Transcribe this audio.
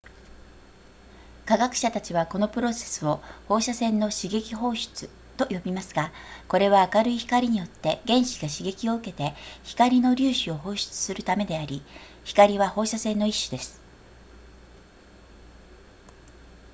科学者たちはこのプロセスを放射線の刺激放出と呼びますがこれは明るい光によって原子が刺激を受けて光の粒子を放出するためであり光は放射線の一種です